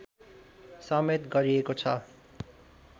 समेत गरिएको छ